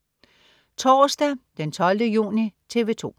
Torsdag den 12. juni - TV 2: